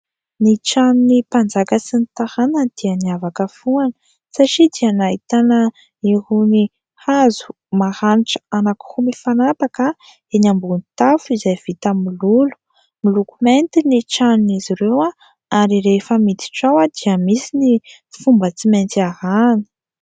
Ny tranony mpanjaka sy ny taranany dia niavaka foana satria dia nahitana irony hazo maranitra anankiroa mifanapaka, eny ambon'ny tafo izay vita mololo miloko mainty ny tranon''izy ireo ary rehefa miditra ao dia misy ny fomba tsy maintsy arahina.